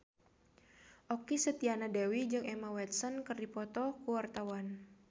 Okky Setiana Dewi jeung Emma Watson keur dipoto ku wartawan